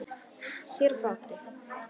Sér á báti.